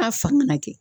A fan kana kɛ